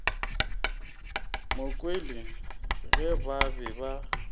mokwele ge ba be ba